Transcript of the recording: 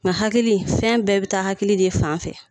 Nga hakili fɛn bɛɛ be taa hakili de fan fɛ